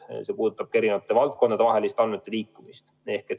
See kehtib ka eri valdkondade vahelise andmete liikumise kohta.